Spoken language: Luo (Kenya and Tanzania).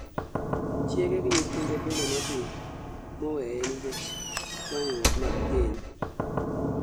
Chiege gi nyithinde bende nodhi moweye nikech chwanyruok mag keny